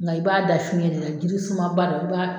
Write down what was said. Nga i b'a da fiyɛn de la jiri sumaba dɔ